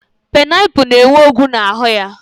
Painaipu na-enwe ọgwụ n'ahụ ya.